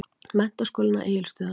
Menntaskólanum á Egilsstöðum.